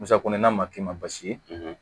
Musakɔnina ma k'i ma baasi ye